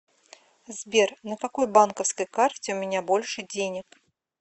сбер на какой банковской карте у меня больше денег